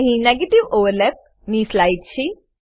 અહી negative overlap ની slide છે